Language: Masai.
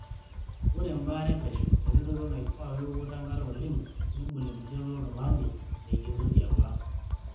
Ore embaare epesho, eretoto naifaa weokoto Enkare oleng, nebol enkijape oltung'ani nekenoki apa.